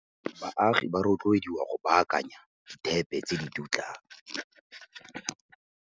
Baagi ba rotloediwa go baakanya dithepe tse di dutlang.